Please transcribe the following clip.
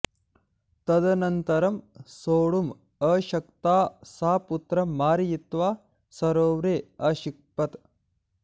तदनन्तरं सोढुम् अशक्ता सा पुत्रं मारयित्वा सरोवरे अक्षिपत्